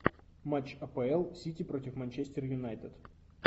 матч апл сити против манчестер юнайтед